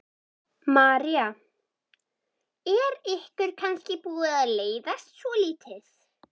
María: Er ykkur kannski búið að leiðast svolítið?